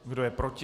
Kdo je proti?